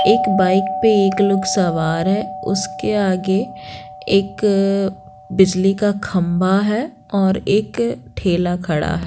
एक बाइक पे एक लोग सवार है उसके आगे एक बिजली का खंभा है और एक ठेला खड़ा है।